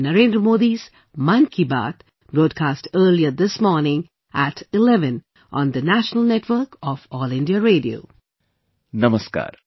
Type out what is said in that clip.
Namaskar